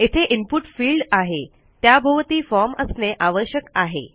येथे input field आहे त्याभोवती फॉर्म असणे आवश्यक आहे